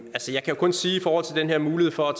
giver mulighed for at